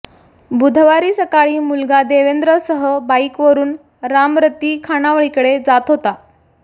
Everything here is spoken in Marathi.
बुधवारी सकाळी मुलगा देवेंद्रसह बाईकवरुन रामरती खाणावळीकडे जात होत्या